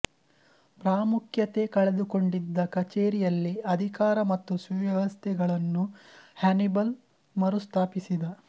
ಪ್ರಾಮುಖ್ಯತೆ ಕಳೆದುಕೊಂಡಿದ್ದ ಕಚೇರಿಯಲ್ಲಿ ಅಧಿಕಾರ ಮತ್ತು ಸುವ್ಯವಸ್ಥೆಗಳನ್ನು ಹ್ಯಾನಿಬಲ್ ಮರುಸ್ಥಾಪಿಸಿದ